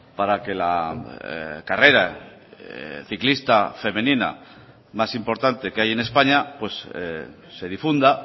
para que la carrera ciclista femenina más importante que hay en españa pues se difunda